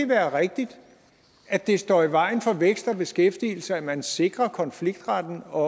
være rigtigt at det står i vejen for vækst og beskæftigelse at man sikrer konfliktretten og